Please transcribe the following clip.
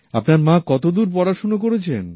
আপনার মা কতদূর পড়াশুনো করেছেন